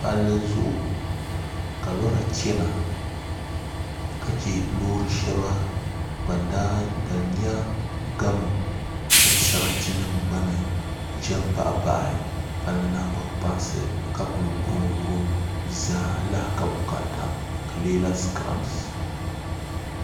Palli zuɣu ka lora chɛna ka chɛ loori shɛŋa ban nyɛ gamo mini sarati nim gba ni ʒɛ n baɣa baɣi palli nagbani kpaŋsi ka ku wurim wurim zaa di lahi ka bukaata di leela sikirabs